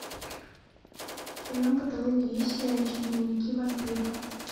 в твоем каталоге есть сериальчик дневники вампира